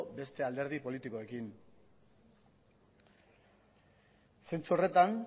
beste alderdi politikoekin zentzu horretan